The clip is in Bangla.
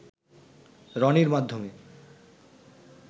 রনির মাধ্যমে